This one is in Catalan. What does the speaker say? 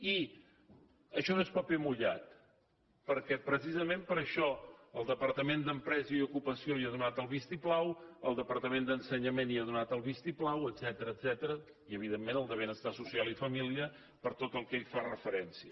i això no és paper mullat perquè precisament per això el departament d’empresa i ocupació hi ha donat el vistiplau el departament d’ensenyament hi ha donat el vistiplau etcètera i evidentment el de benestar social i família per tot el que hi fa referència